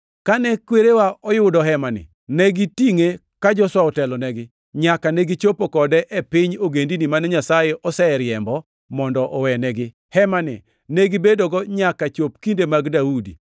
Kane kwerewa oyudo Hemani, ne gitingʼe ka Joshua otelonegi, nyaka negichopo kode e piny ogendini mane Nyasaye oseriembo mondo owenegi. Hemani ne gibedogo nyaka chop kinde mag Daudi.